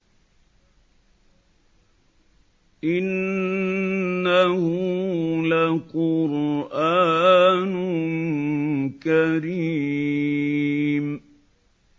إِنَّهُ لَقُرْآنٌ كَرِيمٌ